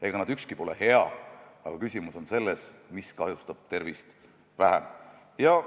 Ega ükski neist pole hea, aga küsimus on selles, mis kahjustab tervist vähem.